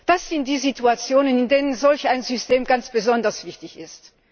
Das sind die Situationen, in denen solch ein System ganz besonders wichtig ist.